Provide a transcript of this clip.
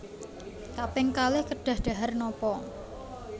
Kaping kalih kedah dhahar nopo